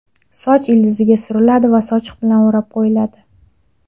Soch ildiziga suriladi va sochiq bilan o‘rab qo‘yiladi.